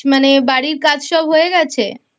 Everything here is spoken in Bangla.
মানে বাড়ির কাজ সব হয়ে গেছে ?